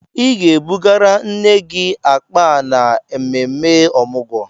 Ị ga-ebugara nne gị akpa a n'ememme Ọmụgwọ!